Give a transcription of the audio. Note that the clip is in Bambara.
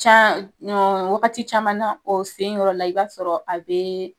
Can wagati caman na o sen yɔrɔ la i b'a sɔrɔ a bɛ.